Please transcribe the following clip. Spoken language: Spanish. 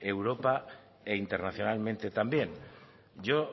europa e internacionalmente también yo